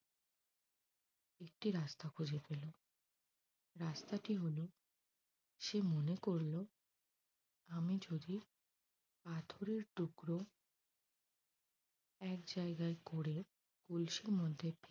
একটি রাস্তা খুঁজে পেল রাস্তাটি হল সে মনে করল আমি যদি পাথরের টুকরো এক জায়গায় করে কলসির মধ্যে